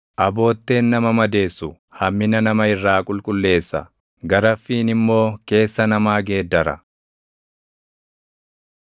Abootteen nama madeessu hammina nama irraa qulqulleessa; garaffiin immoo keessa namaa geeddara.